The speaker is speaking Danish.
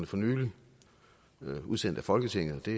for nylig var udsendt af folketinget til